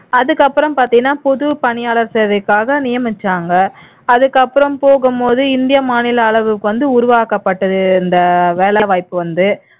அதுக்கப்புறம் பாத்தீன்னா புது பணியாளர் சேவைக்காக நியமிச்சாங்க அதுக்கப்புறம் போகும்போது இந்திய மாநில அளவு வந்து உருவாக்கப்பட்டது இந்த வேலைவாய்ப்பு வந்து